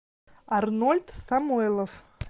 арнольд самойлов